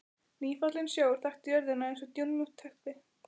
Nýfallinn sjór þakti jörðina eins og dúnmjúkt teppi.